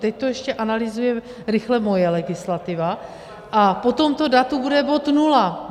Teď to ještě analyzuje rychle moje legislativa, a po tomto datu bude bod nula.